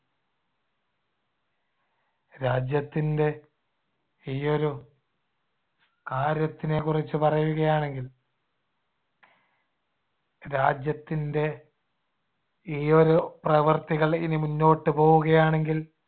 രാജ്യത്തിൻടെ ഈയൊരു കാര്യത്തിനെകുറിച്ചു പറയുകയാണെങ്കിൽ രാജ്യത്തിൻടെ ഈ ഒരു പ്രവർത്തികൾ ഇനി മുന്നോട്ട് പോവുകയാണെങ്കിൽ